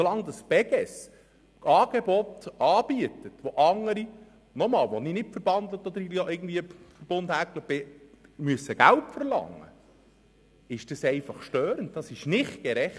Solange die Beges Angebote anbietet, für welche andere Organisationen, mit denen ich, wie gesagt, nicht verbandelt bin, Geld verlangen müssen, finde ich dies störend und nicht gerecht.